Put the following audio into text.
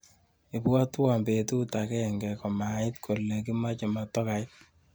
Ibwatwa betut agenge komait kole kimache motokait.